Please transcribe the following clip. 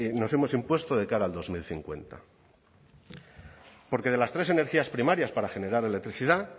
nos hemos impuesto de cara al dos mil cincuenta porque de las tres energías primarias para generar electricidad